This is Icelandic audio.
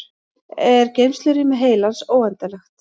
er geymslurými heilans óendanlegt